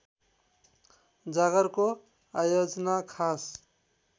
जागरको आयोजना खास